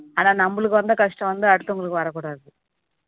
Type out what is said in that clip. ஆனா நம்மளுக்கு வந்த கஷ்டம் வந்து அடுத்து உங்களுக்கு வரக்கூடாது